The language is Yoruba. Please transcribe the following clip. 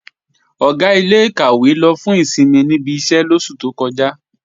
Ọ̀gá ilé-ìkàwé lọ fún ìsinmi níbi iṣẹ́ lóṣù tó kọjá